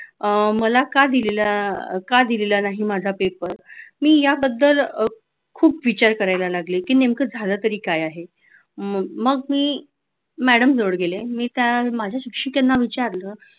अह मला का दिलेला काही दिलेलं नाही paper का दिलेला नाही माझा paper मी याबद्दल खूप विचार करायला लागले की नेमकं झालं तरी काय आहे मग मी madam जवळ गेले मी त्या माझ्या शिक्षिकेना विचारलं